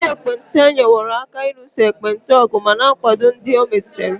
Ụlọ ndị ekpenta enyeworo aka n'ịlụso ekpenta ọgụ ma na-akwado ndị ọ metụtara.